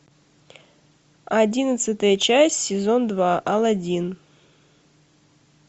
одиннадцатая часть сезон два алладин